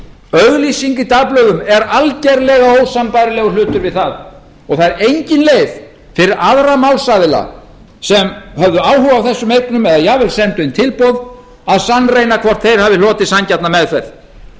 auglýsing í dagblöðum er algjörlega ósambærilegur hlutur við það og það er engin leið fyrir aðra málsaðila sem höfðu áhuga á þessum eignum eða jafnvel sendu inn tilboð að sannreyna hvort þeir hafi hlotið sanngjarna meðferð